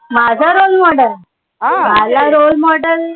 माझा role model? माझा role model